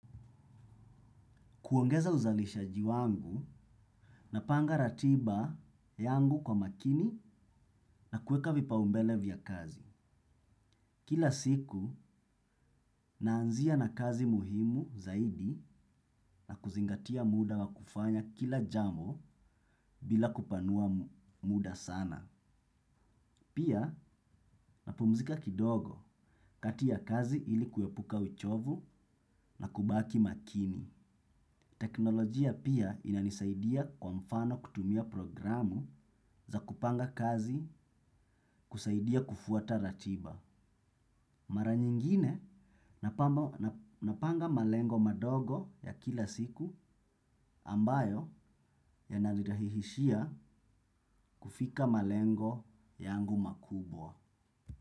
Kuongeza uzalishaji wangu napanga ratiba yangu kwa makini na kueka vipaumbele vya kazi. Kila siku, naanzia na kazi muhimu zaidi na kuzingatia muda wa kufanya kila jambo bila kupanua muda sana. Pia, napumzika kidogo kati ya kazi ili kuepuka uchovu na kubaki makini. Teknolojia pia inanisaidia kwa mfano kutumia programu za kupanga kazi kusaidia kufuata ratiba. Mara nyingine napanga malengo madogo ya kila siku ambayo yananirahisishia kufika malengo yangu makubwa.